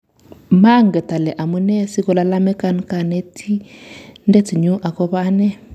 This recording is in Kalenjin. "Manget ale amune sikolalamikani Kanetindet nyu agobo ane